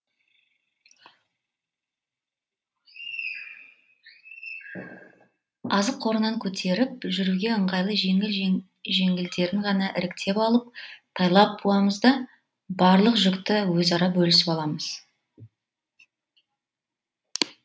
азық қорынан көтеріп жүруге ыңғайлы жеңіл жеңілдерін ғана іріктеп алып тайлап буамыз да барлық жүкті өзара бөлісіп аламыз